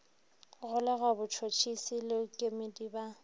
golegwa botšhotšhisi le kemedi ba